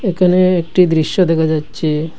এখানে একটি দৃশ্য দেখা যাচ্ছে।